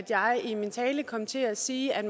jeg i min tale kom til at sige at